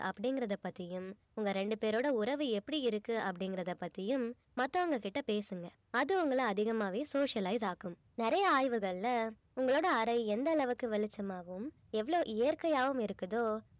அப்படிங்கறத பத்தியும் உங்க ரெண்டு பேரோட உறவு எப்படி இருக்கு அப்படிங்கறத பத்தியும் மத்தவங்க கிட்ட பேசுங்க அது உங்கள அதிக்மாகவே socialize ஆக்கும் நிறைய ஆய்வுகள்ல உங்களோட அறை எந்த அளவுக்கு வெளிச்சமாகவும் எவ்வளவு இயற்கையாகவும் இருக்குதோ